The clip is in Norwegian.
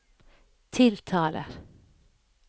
tiltaler